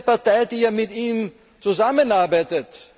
Aber es ist eine Partei, die ja mit ihm zusammenarbeitet.